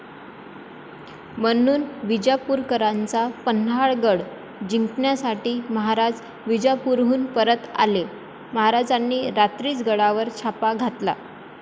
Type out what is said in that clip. म्हणून विजापूरकरांचा पन्हाळगड जिंकण्यासाठी महाराज विजापुरहून परत आले, महाराजांनी रात्रीच गडावर छापा घातला.